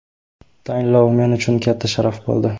Tayinlov men uchun katta sharaf bo‘ldi.